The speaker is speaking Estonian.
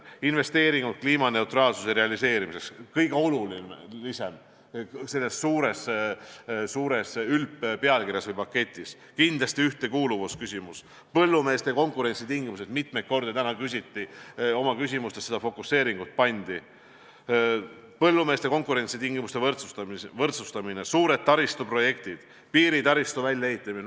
Investeeringud kliimaneutraalsuse realiseerimiseks on kõige olulisemad selles suures paketis, kindlasti ühtekuuluvuse küsimus, põllumeeste konkurentsitingimuste võrdsustamine, suured taristuprojektid, piiritaristu väljaehitamine.